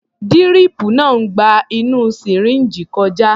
Díríìpù náà ń gba inú sìríǹjì kọjá.